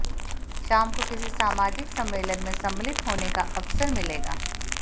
शाम को किसी सामाजिक सम्मलेन में सम्मलित होने का अवसर मिलेगा